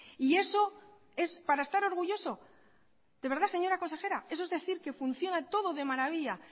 y eso es para estar orgulloso de verdad señora consejera eso es decir que funciona todo de maravilla